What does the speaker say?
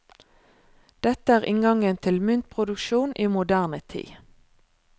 Dette er inngangen til myntproduksjon i moderne tid.